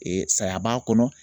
Ee saya b'a kɔnɔ